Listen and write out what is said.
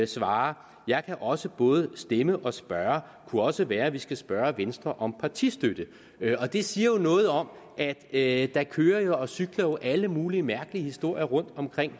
svarer jeg kan også både stemme og spørge kunne også være vi skulle spørge venstre om partistøtte det siger jo noget om at at der kører og cykler alle mulige mærkelige historier rundt om